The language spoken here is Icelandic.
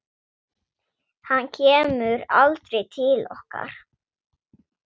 Hann kemur aldrei til okkar.